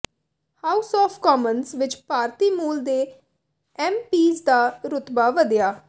house of Commons ਵਿਚ ਭਾਰਤੀ ਮੂਲ ਦੇ ਐੱਮਪੀਜ਼ ਦਾ ਰੁਤਬਾ ਵਧਿਆ